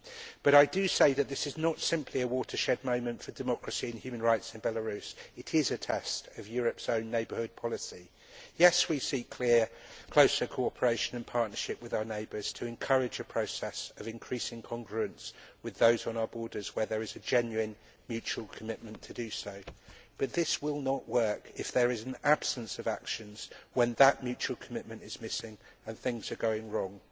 But I do say that this is not simply a watershed moment for democracy and human rights in Belarus it is a test of Europe's own Neighbourhood Policy. Yes, we seek clear and closer cooperation and partnership with our neighbours to encourage a process of increasing congruence with those on our borders where there is a genuine mutual commitment to do so, but this will not work if there is an absence of actions when that mutual commitment is missing and things are going wrong.